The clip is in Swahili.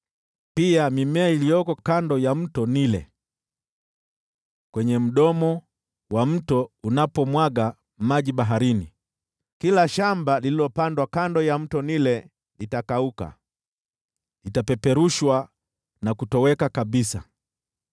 pia mimea iliyoko kando ya Mto Naili, pale mto unapomwaga maji baharini. Kila shamba lililopandwa kando ya Mto Naili litakauka, litapeperushwa na kutoweka kabisa.